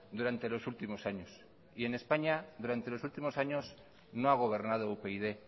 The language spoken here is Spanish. durante los últimos años y en españa durante los últimos años no ha gobernado upyd